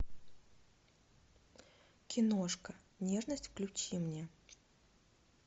киношка нежность включи мне